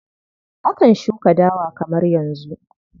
Akan shuka dawa kamar yanzu.